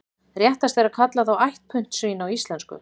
Réttast er að kalla þá ætt puntsvín á íslensku.